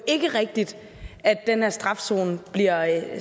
ikke rigtigt at den her strafzone bliver